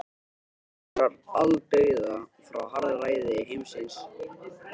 Þetta táknar aldauða frá harðræði heimsins.